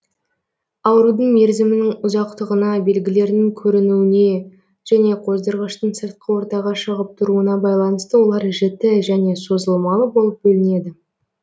аурудың мерзімінің ұзақтығына белгілерінің көрінуіне және қоздырғыштың сыртқы ортаға шығып тұруына байланысты олар жіті және созылмалы болып бөлінеді